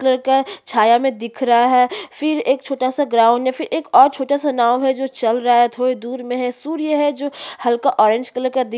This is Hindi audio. कलर का छाया में दिख रहा है फिर एक छोटा सा ग्राउंड है फिर और छोटा सा नाव है जो चल रहा है थोड़ा दूर में है सूर्य है जो हल्का ऑरेंज कलर दिख--